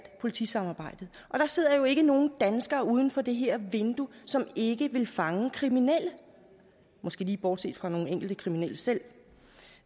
politisamarbejdet der sidder jo ikke nogen danskere uden for det her vindue som ikke vil fange kriminelle måske lige bortset fra nogle enkelte kriminelle selv